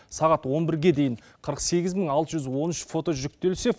сағат он бірге дейін қырық сегіз мың алты жүз он үш фото жүктелсе